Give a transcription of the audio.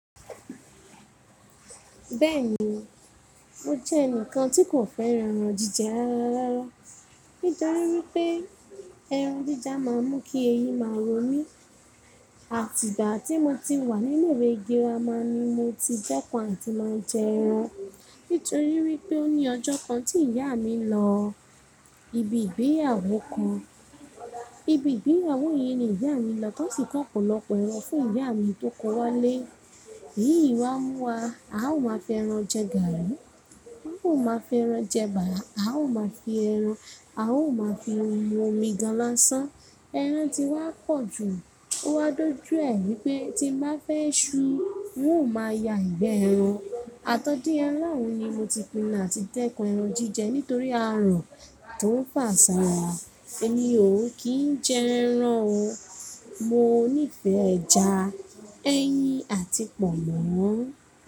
Bẹ́ẹ̀ni, mo jẹ́ ẹnìkan tí kò fẹ́ran ẹran jíjẹ rárá rárá. Nítorí wípé ẹran jíja má a ń mú kí eyín máa rọ mi. Àtìgbà tí mo ti wà ni ile iwé girama ni mo ti dẹ́kun àti máa jẹ ẹran. Nítorí wípé ó ní ọjọ́ kan tí ìyá mi lọ ibi ìgbéyàwó kan. Ibi ìgbéyàwó yìí ni ìyá mi lọ tó sì kọ́ ọ̀pọ̀lọpọ̀ ẹran fún ìyá mi tó kó wá lé. “Yí ìwá mú wá, a ó máa fẹ ẹran jẹ gàárì, a ó máa fẹ ẹran jẹ eba. A ó máa fi ẹran, a ó máa fi omi gan-an lọ́ṣán.” ẹran ti wá pọ̀ jù. Ó wá dójú ẹ wípé tí mo bá fẹ́ ṣú, n ó máa ya ìgbẹ ẹran. Àtọ́dé aláàrún ni mo ti pinnu àti dẹ́kun ẹran jíjẹ nítorí àárọ̀ tó ń pàṣàwà. Èmi ò kí ń jẹ ẹran o. Mo níí fẹ́ ẹja, ẹyin àti pọ̀nmọ́.